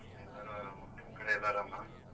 ಎಲ್ಲರು ಆರಾಮ್ ನಿಮ್ ಕಡೆ ಎಲ್ಲಾ ಆರಾಮ?